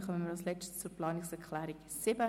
Somit kommen wir zur Planungserklärung 7.